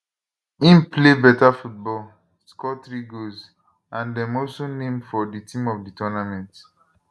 im play beta football score three goals and dem also name for di team of di tournament